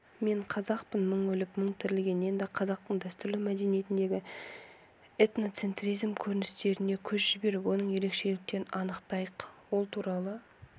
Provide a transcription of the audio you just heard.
мен қазақпын мың өліп мың тірілген енді қазақтың дәстүрлі мәдениетіндегі этноцентризм көріністеріне көз жіберіп оның ерекшеліктерін анықтайық ол туралы